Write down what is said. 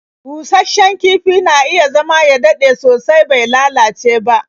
Busasshen kifi na iya zama ya dade sosai bai lalace ba.